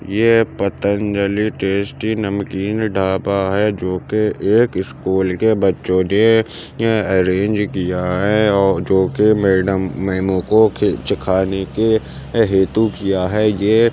ये पतंजलि टेस्टी नमकीन ढाबा है जो की एक स्कूल के बच्चो ने यह अरेंज किया है औ जो कि मेडम मैमू को चखाने के हेतु किया हैं ये --